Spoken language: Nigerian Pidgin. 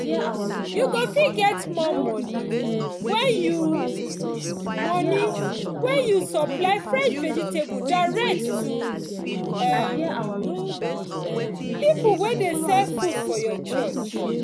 you go fit get more money when you money when you supply fresh vegetables direct to um people wey dey sell food for your church